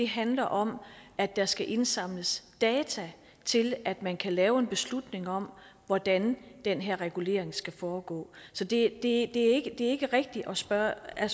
handler om at der skal indsamles data til at man kan lave en beslutning om hvordan den her regulering skal foregå så det er ikke rigtigt af spørgeren at